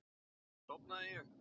Síðan sofnaði ég.